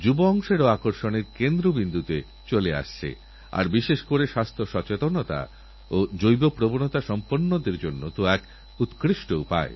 সূরজজী আপনার এই অনুভব আমি সব খেলোয়োড়দের প্রতি অর্পণকরছি আর আমার তরফে ১২৫ কোটি দেশবাসীর তরফে রিওতে ভারতবর্ষের পতাকা উড্ডীন করারজন্য অনেক অনেক শুভেচ্ছা জানাতে চাই